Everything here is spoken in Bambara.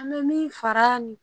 An bɛ min fara nin